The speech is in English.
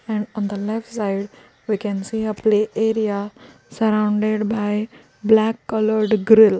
and on the left side we can see a play area surrounded by black coloured grill.